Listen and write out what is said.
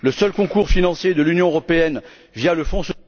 Le seul concours financier de l'Union européenne, via le fonds...